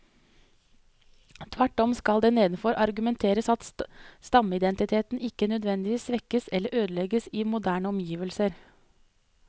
Tvert om skal det nedenfor argumenteres at stammeidentiteten ikke nødvendigvis svekkes eller ødelegges i moderne omgivelser.